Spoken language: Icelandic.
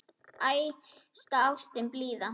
Æðsta ástin blíða!